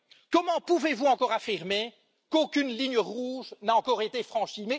Comment pouvez vous encore affirmer qu'aucune ligne rouge n'a encore été franchie?